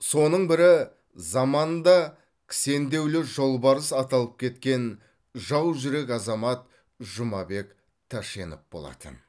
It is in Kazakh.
соның бірі заманында кісендеулі жолбарыс аталып кеткен жаужүрек азамат жұмабек тәшенев болатын